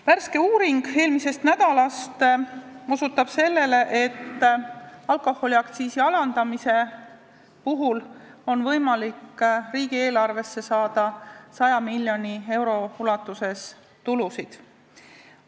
Värske uuring eelmisest nädalast osutab sellele, et alkoholiaktsiisi alandamisega on võimalik riigieelarvesse saada 100 miljoni euro eest tulusid.